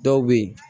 Dɔw bɛ yen